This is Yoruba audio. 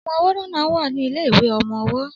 Ọmọ ọwọ́ náà wà ní ilé ìwé ọmọ ọwọ́